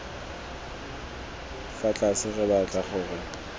fa tlase re batla gore